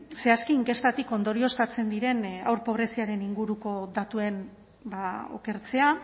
zehazki inkestatik ondorioztatzen diren haur pobreziaren inguruko datuen okertzea